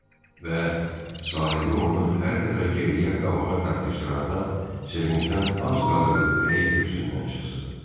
Və sahibi onu hər dəfə geriyə, qabağa dartışdıranda sevincdən az qalırdı ürəyi köksündən çıxsın.